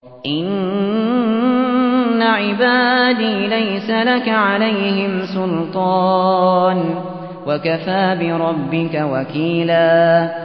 إِنَّ عِبَادِي لَيْسَ لَكَ عَلَيْهِمْ سُلْطَانٌ ۚ وَكَفَىٰ بِرَبِّكَ وَكِيلًا